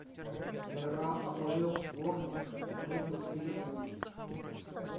игра апл борнмут против ливерпуль